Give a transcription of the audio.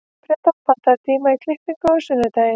Pedró, pantaðu tíma í klippingu á sunnudaginn.